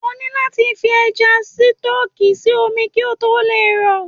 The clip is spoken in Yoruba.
O ni láti fish Ẹja Sítọ́ọ́kì sí omi kí ó tó lè rọ̀.